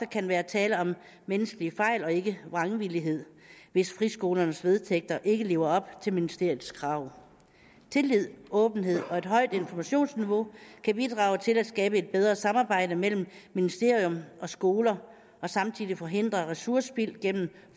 kan være tale om menneskelige fejl og ikke vrangvillighed hvis friskolens vedtægter ikke lever op til ministeriets krav tillid åbenhed og et højt informationsniveau kan bidrage til at skabe et bedre samarbejde mellem ministerium og skoler og samtidig forhindre ressourcespild gennem